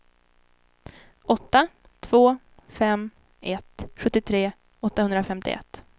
åtta två fem ett sjuttiotre åttahundrafemtioett